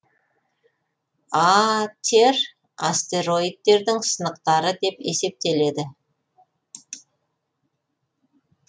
а тер астероидтердің сынықтары деп есептеледі